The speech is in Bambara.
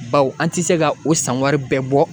Bawo an tɛ se ka o san wari bɛɛ bɔ